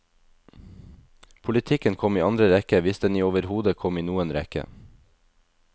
Politikken kom i andre rekke, hvis den i overhodet kom i noen rekke.